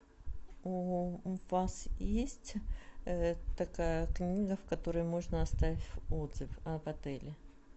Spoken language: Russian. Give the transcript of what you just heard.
у вас есть такая книга в которой можно оставить отзыв об отеле